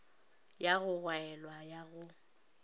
ya go gwaelwa ya go